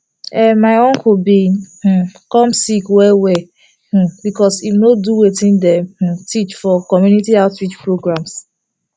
erm my uncle been um come sick well well um because him no do wetin dem um teach am for community outreach programs